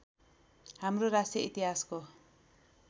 हाम्रो राष्ट्रिय इतिहासको